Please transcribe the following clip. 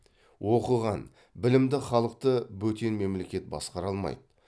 оқыған білімді халықты бөтен мемлекет басқара алмайды